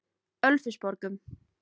Ölfusborgum